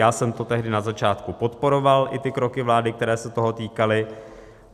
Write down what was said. Já jsem to tehdy na začátku podporoval, i ty kroky vlády, které se toho týkaly.